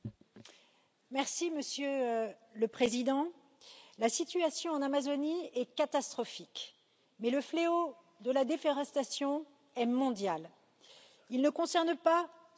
Monsieur le Président, la situation en Amazonie est catastrophique, mais le fléau de la déforestation est mondial, il ne concerne pas seulement l'Amazonie.